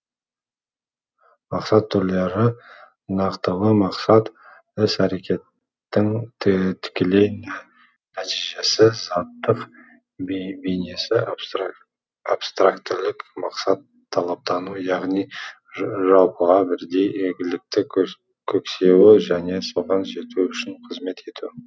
мақсат түрлері нақтылы мақсат іс әрекеттің тікелей нәтижесі заттың бейнесі абстрактілі мақсат талаптану яғни жалпыға бірдей игілікті көксеу және соған жету үшін қызмет ету